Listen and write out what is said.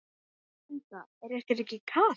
Linda: Er ykkur ekki kalt?